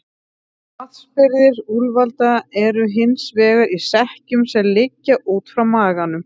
Vatnsbirgðir úlfalda eru hins vegar í sekkjum sem liggja út frá maganum.